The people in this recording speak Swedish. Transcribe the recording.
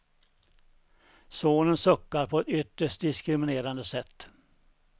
Sonen suckar på ett ytterst diskriminerande sätt.